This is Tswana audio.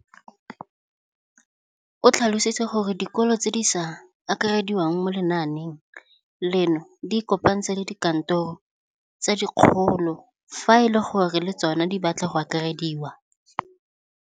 O tlhalositse gore dikolo tse di sa akarediwang mo lenaaneng leno di ikopanye le dikantoro tsa kgaolo fa e le gore le tsona di batla go akarediwa.